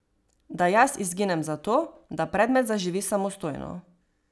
Da jaz izginem zato, da predmet zaživi samostojno.